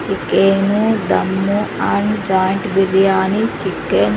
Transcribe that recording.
Chicken dum and joint biryani chicken .